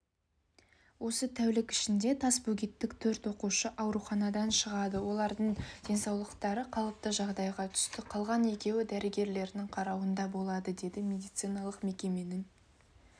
осы тәулік ішінде тасбөгеттік төрт оқушы ауруханадан шығады олардың денсаулығы қалыпты жағдайға түсті қалған екеуі дәрігерлердің қарауында болады деді медицаналық мекеменің